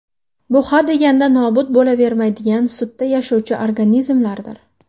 Bu hadeganda nobud bo‘lavermaydigan sutda yashovchi organizmlardir.